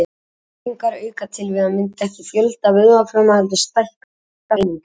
Lyftingar auka til að mynda ekki fjölda vöðvafruma heldur stækka þær einungis.